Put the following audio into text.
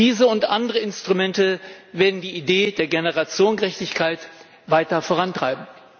Diese und andere Instrumente werden die Idee der Generationengerechtigkeit weiter vorantreiben.